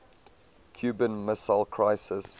cuban missile crisis